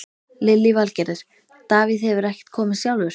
Lillý Valgerður: Davíð hefur ekkert komist sjálfur?